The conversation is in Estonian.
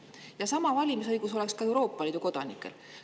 Samasugune valimisõigus oleks ka Euroopa Liidu kodanikel.